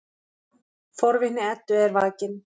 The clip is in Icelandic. Forvitni Eddu er vakin.